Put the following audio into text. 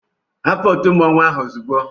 Hapụ òtù mmọnwụ ahụ ozugbo!